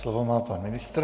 Slovo má pan ministr.